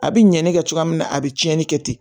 A bɛ ɲɛni kɛ cogoya min na a bɛ tiɲɛni kɛ ten